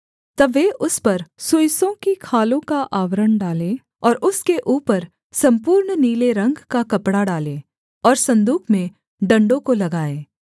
तब वे उस पर सुइसों की खालों का आवरण डालें और उसके ऊपर सम्पूर्ण नीले रंग का कपड़ा डालें और सन्दूक में डण्डों को लगाएँ